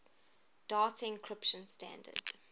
data encryption standard